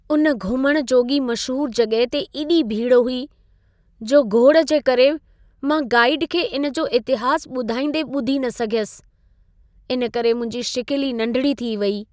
उन घुमण जोॻी मशहूर जॻहि ते एॾी भीड़ हुई, जो घोड़ जे करे मां गाईड खे इन जो इतिहास ॿुधाईंदे ॿुधी न सघियुसि। इन करे मुंहिंजी शिकिल ई नंढिड़ी थी वेई।